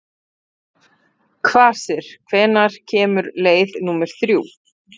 Kvasir, hvenær kemur leið númer þrjú?